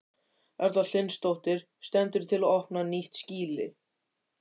Erla Hlynsdóttir: Stendur til að opna nýtt skýli?